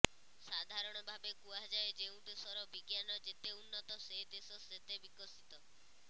ସାଧାରଣ ଭାବେ କୁହାଯାଏ ଯେଉଁ ଦେଶର ବିଜ୍ଞାନ ଯେତେ ଉନ୍ନତ ସେ ଦେଶ ସେତେ ବିକଶିତ